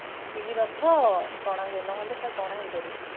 ତିନି ରଥ ଟନ ହୁଏ ନହେଲେ ସେ ଟଣା ହେଇ ପରିବେନି